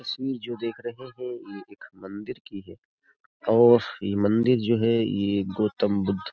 तस्वीर जो देख रहे हैं ये एक मंदिर की है और ये मंदिर जो है ये गौतम बुद्ध --